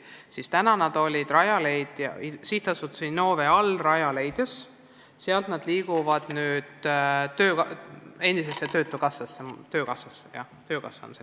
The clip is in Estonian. Seni töötasid need spetsialistid Sihtasutuse Innove all tegutsevas Rajaleidjas, nüüd liiguvad nad sealt endisesse töötukassasse, mille nimi on nüüd töökassa.